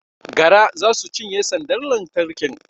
Gara za su cinye sandar lantarkin